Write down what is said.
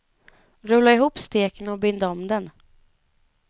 Rulla ihop steken och bind om den.